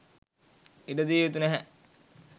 ඉඩදිය යුතු නැහැ.